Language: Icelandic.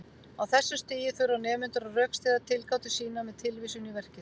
Á þessu stigi þurfa nemendur að rökstyðja tilgátur sínar með tilvísun í verkið.